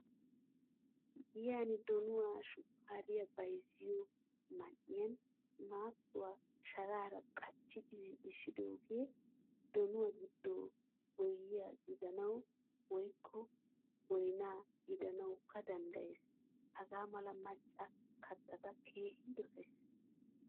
Giyan donuwaa, shukkariyaa bayzziyo man'iyan matuwaa sharaaraa qachchidi zin'isidoge donuwaa gido boyiya gidanawu woykko boynna gidanawukka danddayess. Hagamala macca kattata keehin dosaysi.